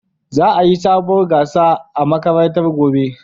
Za'a yi sabuwar gasa a makarantar gobe.